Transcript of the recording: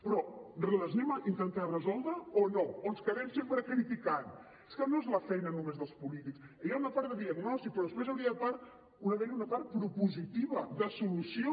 però les anem a intentar resoldre o no o ens quedem sempre criticant és que no és la feina només dels polítics hi ha una part de diagnosi però després ha d’haver hi una part propositiva de solució